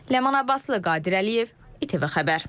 Ləman Abbaslı, Qadir Əliyev, İTV Xəbər.